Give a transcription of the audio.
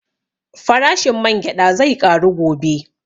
Farashin man gyaɗa zai ƙaru gobe